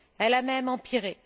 elle a même empiré.